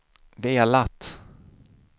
velat